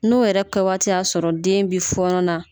N'o yɛrɛ kɛwaati y'a sɔrɔ den bi fɔɔnɔ na